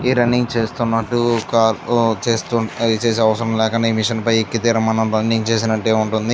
ఈ రన్నింగ్ చేస్తున్నట్టు ఒక చేస్తూ చేసే అవసరం లేకుండా ఈ మిషన్ పైన ఎక్కి దిగుతూ రన్నింగ్ చేసినట్టే ఉంటుంది.